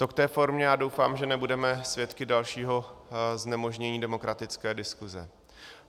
To k té formě a doufám, že nebudeme svědky dalšího znemožnění demokratické diskuze.